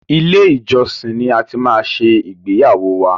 Ilé-ìjọsin ni a ti máa ṣe ìgbéyàwó wa.